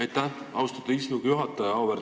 Aitäh, austatud istungi juhataja!